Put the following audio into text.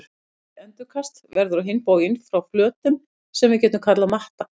Dreift endurkast verður á hinn bóginn frá flötum sem við getum kallað matta.